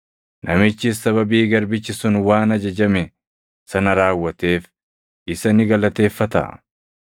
Namichis sababii garbichi sun waan ajajame sana raawwateef isa ni galateeffataa?